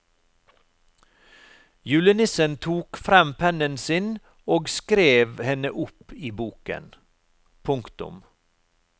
Julenissen tok frem pennen sin og skrev henne opp i boken. punktum